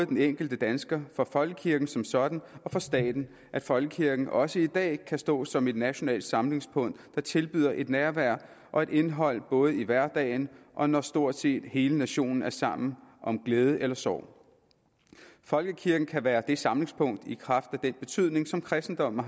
den enkelte dansker for folkekirken som sådan og for staten at folkekirken også i dag kan stå som et nationalt samlingspunkt der tilbyder et nærvær og et indhold både i hverdagen og når stort set hele nationen er sammen om glæde eller sorg folkekirken kan være det samlingspunkt i kraft af den betydning som kristendommen